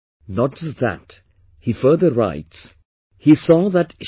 Not just that, he further writes he saw that Mr